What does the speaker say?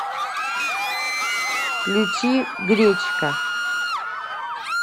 включи гречка